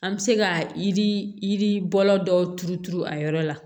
An bɛ se ka yiri yiribɔla dɔw turu turu a yɔrɔ la